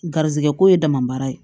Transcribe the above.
Garizigɛ ko ye dama baara ye